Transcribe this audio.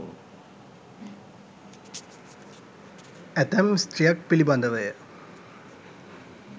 ඇතැම් ස්ත්‍රියක් පිළිබඳව ය.